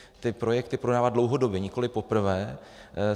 Ty projekty podává dlouhodobě, nikoliv poprvé.